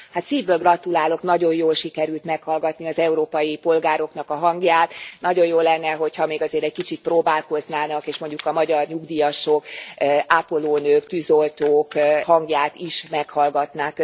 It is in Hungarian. Hát szívből gratulálok, nagyon jól sikerült meghallgatni az európai polgároknak a hangját, nagyon jó lenne, hogy ha még azért egy kicsit próbálkoznának, és mondjuk a magyar nyugdíjasok, ápolónők, tűzoltók hangját is meghallgatnák.